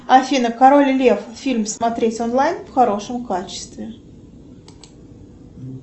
афина король лев фильм смотреть онлайн в хорошем качестве